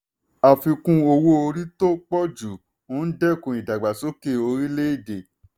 àfikún owó orí tó pọ̀ ju ń dẹ́kun ìdàgbàsókè orílẹ̀-èdè.